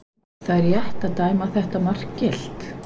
Var það rétt að dæma þetta mark gilt?